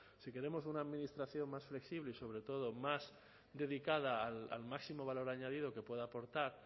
si queremos una administración más flexible y más dedicada al máximo valor añadido que pueda aportar